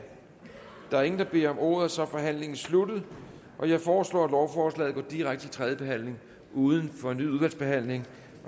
der er ingen der beder om ordet så er forhandlingen sluttet jeg foreslår at lovforslaget går direkte til tredje behandling uden fornyet udvalgsbehandling